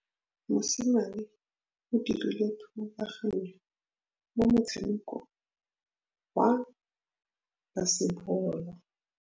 Mosimane o dirile thubaganyô mo motshamekong wa basebôlô.